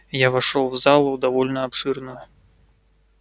я вошёл в зал довольно обширную